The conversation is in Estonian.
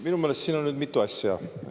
Minu meelest siin on nüüd mitu asja.